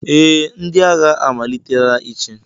Ee, ndị agha amalitela ịchị.